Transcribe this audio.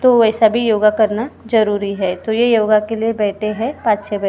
तो वैसा भी योगा करना ज़रूरी हैं तो योगा के लिए बैठे हैं पांच छे बच्चे।